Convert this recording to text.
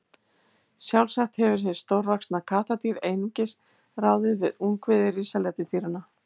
Sjálfsagt hefur hið stórvaxna kattardýr einungis ráðið við ungviði risaletidýranna.